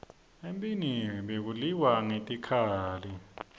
emphini bekuliwa ngetikhali